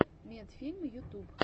медфильм ютуб